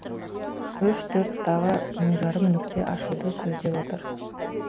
үш төрттағы мың жарым нүкте ашуды көздеп отыр